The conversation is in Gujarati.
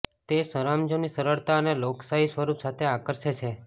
તે સરંજામની સરળતા અને લોકશાહી સ્વરૂપ સાથે આકર્ષે છે